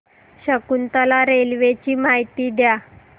Shakuntala railway ची माहिती द्या